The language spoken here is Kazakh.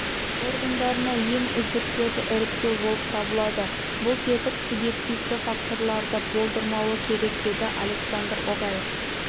органдарына ең үздіктерді іріктеу болып табылады бұл тетік субъективті факторларды болдырмауы керек деді александр огай